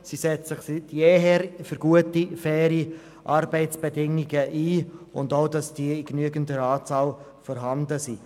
Sie setzt sich seit jeher für gute, faire Arbeitsbedingungen ein und auch dafür, dass diese in genügender Anzahl vorhanden sind.